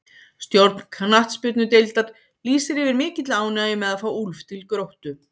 Stjórn knattspyrnudeildar lýsir yfir mikilli ánægju með að fá Úlf til Gróttu.